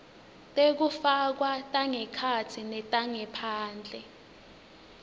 tekufakwa tangekhatsi netangephandle